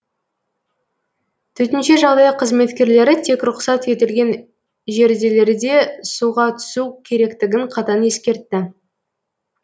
төтенше жағдай қызметкерлері тек рұқсат етілген жерделерде суға түсу керектігін қатаң ескертті